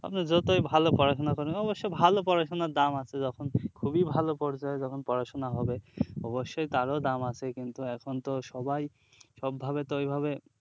আপনি যতই ভালো পড়াশুনা করেন অবশ্যযে ভালো পড়াশুনার দাম আছে যখন খুবই ভালো পড়তে হয় তখন পড়াশুনা হবে অবশ্যই তারও দাম আছে কিন্তু এখনতো সবাই সবভাবে তো ওইভাবে